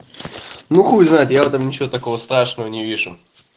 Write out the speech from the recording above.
ну хуй знает я в этом ничего такого страшного не вижу